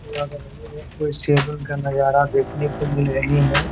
का नज़ारा देखने को मिल रहे है ।